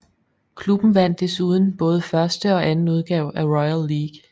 Klubben vandt desuden både første og anden udgave af Royal League